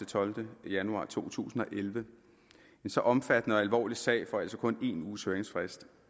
tolvte januar to tusind og elleve en så omfattende og alvorlig sag får altså kun en uges høringsfrist